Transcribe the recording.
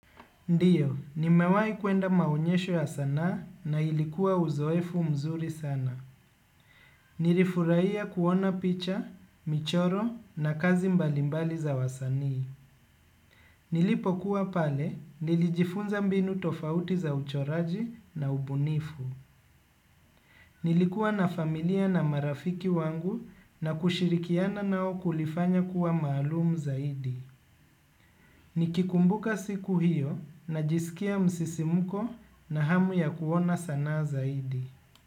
Ndiyo, nimewahi kuenda maonyesho ya sanaa na ilikuwa uzoefu mzuri sana. Nilifurahia kuona picha, michoro na kazi mbalimbali za wasanii. Nilipokuwa pale, nilijifunza mbinu tofauti za uchoraji na ubunifu. Nilikuwa na familia na marafiki wangu na kushirikiana nao kulifanya kuwa maalum zaidi. Nikikumbuka siku hiyo najisikia msisimuko na hamu ya kuona sanaa zaidi.